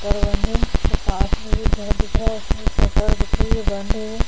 के पास में एक घर दिख रहा है। उसमें शटर दिख रही है। बंद है वो।